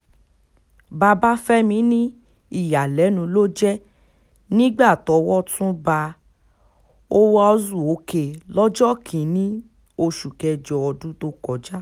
babafẹ́mi ní ìyàlẹ́nu ló jẹ́ nígbà tọ́wọ́ tún ba uwaezuoke lọ́jọ́ kìn-ín-ní oṣù kẹjọ ọdún tó kọjá